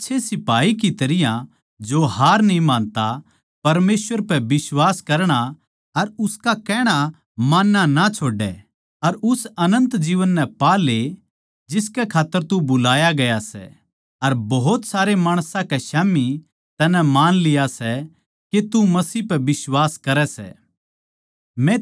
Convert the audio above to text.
एक आच्छे सिपाही की तरियां जो हार न्ही मानता थम भी परमेसवर पै बिश्वास करणा अर उसका कहणा मानणा ना छोड़ो अर उस अनन्त जीवन नै पा ले जिसकै खात्तर तू बुलाया गया सै अर भोत सारे माणसां के स्याम्ही थमनै मान लिया सै के थम मसीह पै बिश्वास करो सों